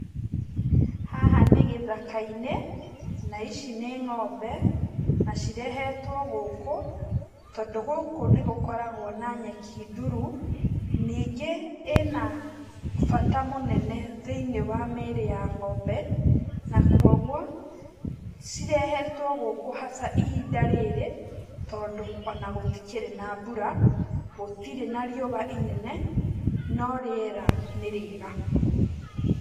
Haha nĩ gĩthaka-inĩ na ici nĩ ng'ombe, na cirehetwo gũkũ tondũ gũkũ nĩ gũkoragwo na nyeki ndurũ, ningĩ ĩnabata mũnene thĩinĩ wa mwĩrĩ wa ng'ombe na koguo cirehetwo gũkũ haca ihinda rĩrĩ tondũ ona gũtikĩrĩ na mbura, gũtirĩ na riũa rĩnene no rĩera nĩ rĩega.